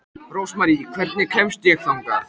Rósmarý, hvernig kemst ég þangað?